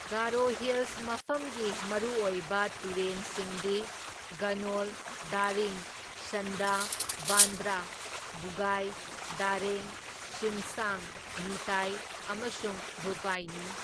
Garo Hills ꯃꯐꯝꯒꯤ ꯃꯔꯨꯑꯣꯏꯕ ꯇꯨꯔꯦꯟꯁꯤꯡꯗꯤ ꯒꯅꯣꯜ, ꯗꯥꯔꯤꯡ, ꯁꯟꯗꯥ, ꯕꯥꯟꯗ꯭ꯔꯥ, ꯕꯨꯒꯥꯏ, ꯗꯥꯔꯦꯡ, ꯁꯤꯝꯁꯥꯡ, ꯅꯤꯇꯥꯏ ꯑꯃꯁꯨꯡ ꯚꯨꯄꯥꯏꯅꯤ꯫